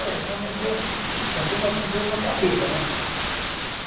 Olha, só me deu assim passei uma tontura na cabeça, né?